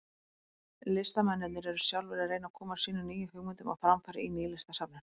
Listamennirnir eru sjálfir að reyna að koma sínum nýju hugmyndum á framfæri í Nýlistasafninu.